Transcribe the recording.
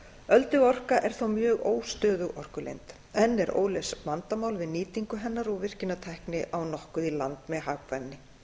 ölduorka er þó mjög óstöðug orkulind enn eru óleyst vandamál við nýtingu hennar og virkjanatækni á nokkuð í land með hagkvæmni